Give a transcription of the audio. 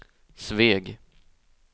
Sveg